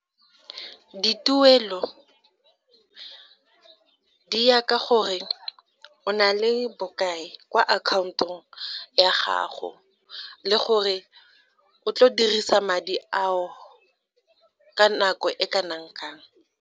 Dituelo di ya ka gore o na le bokae kwa akhaontong ya gago le gore o tlo dirisa madi ao ka nako e kana kang.